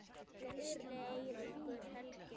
Gísli Eiríkur Helgi.